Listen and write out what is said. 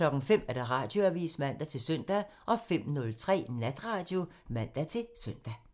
05:00: Radioavisen (man-søn) 05:03: Natradio (man-søn)